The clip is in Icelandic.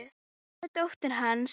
Nú ertu dóttir hans.